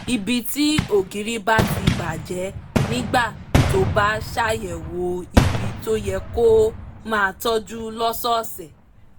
ibi tí ògiri bá ti bà jẹ́ nígbà tó bá ṣàyẹ̀wò ibi tó yẹ kó o máa tọ́jú lọ́sọ̀ọ̀sẹ̀